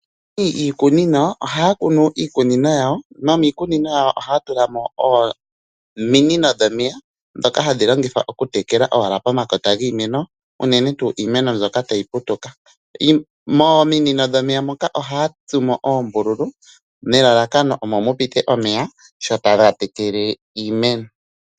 Iikunino, aantu ohaya kunu iikunino yawo, nomiikunino yawo ohaya tulamo ominino dhomeya, ndhoka hadhilongithwa okutekela owala omakota giimeno, unene tuu imeno mbyoka tayi putuka. Mominino dhomeya moka oha ya tsumo oombululu, nelalakano omo mupite omeya, sho taga tekele iimeno.